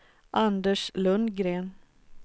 Anders Lundgren